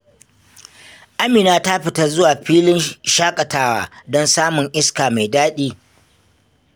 Amina ta fita zuwa filin shakatawa don samun iska mai daɗi.